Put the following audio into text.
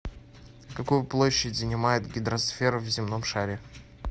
какую площадь занимает гидросфера в земном шаре